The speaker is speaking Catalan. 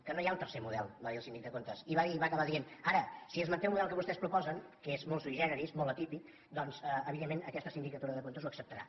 que no hi ha un tercer model va dir el síndic de comptes i va acabar dient ara si es manté el model que vostès proposen que és molt sui generis molt atípic doncs evidentment aquesta sindicatura de comptes ho acceptarà